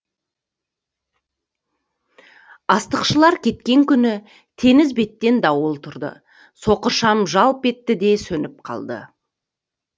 астықшылар кеткен күні теңіз беттен дауыл тұрды соқыр шам жалп етті де сөніп қалды